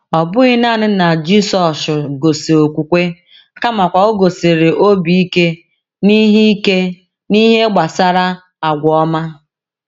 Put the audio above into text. Ọ bụghị naanị na Jisọshụ gosi okwukwe, kamakwa o gosikwara obi ike n’ihe ike n’ihe gbasara agwa ọma.